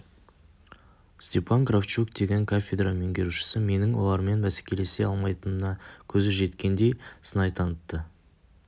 степан кравчук деген кафедра меңгерушісі менің олармен бәсекелесе алмайтыныма көзі жеткендей сынай танытты